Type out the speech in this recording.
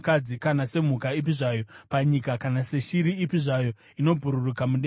kana semhuka ipi zvayo panyika kana seshiri ipi zvayo inobhururuka mudenga,